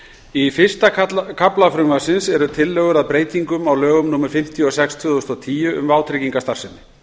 í fyrsta kafla frumvarpsins eru tillögur að breytingum á lögum númer fimmtíu og sex tvö þúsund og tíu um vátryggingastarfsemi